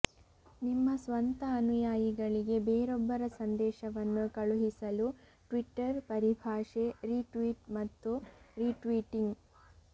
ನಿಮ್ಮ ಸ್ವಂತ ಅನುಯಾಯಿಗಳಿಗೆ ಬೇರೊಬ್ಬರ ಸಂದೇಶವನ್ನು ಕಳುಹಿಸಲು ಟ್ವಿಟರ್ ಪರಿಭಾಷೆ ರಿಟ್ವೀಟ್ ಮತ್ತು ರಿಟ್ವೀಟಿಂಗ್